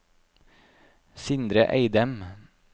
Sindre Eidem